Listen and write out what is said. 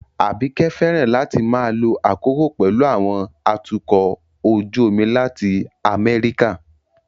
Abike fẹ́ràn láti máa lo àkókò pẹ̀lú àwọn atukọ̀ ojú omi láti America